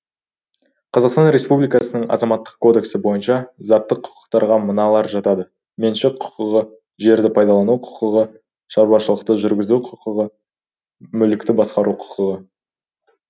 қазақстан республикасының азаматтық кодексі бойынша заттық құқықтарға мыналар жатады меншік құқығы жерді пайдалану құқығы шаруашылықты жүргізу құқығы мүлікті басқару құқығы